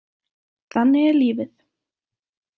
Þannig er lífið.